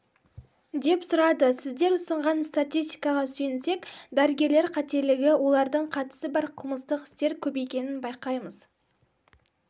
деп сұрады сіздер ұсынған статистикаға сүйенсек дәрігерлер қателігі олардың қатысы бар қылмыстық істер көбейгенін байқаймыз